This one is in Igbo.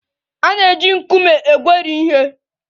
A na-eji nkume egweri ihe.